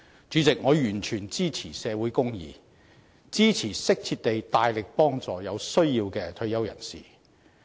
主席，我完全支持社會公義，支持適切地大力幫助有需要的退休人士。